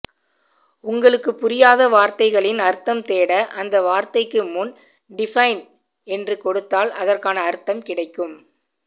உங்களுக்கு புரியாத வாரத்தைகளின் அர்த்தம் தேட அந்த வார்த்தைக்கு முன் டிபைன் என்று கொடுத்தால் அதற்கான அர்த்தம் கிடைக்கும்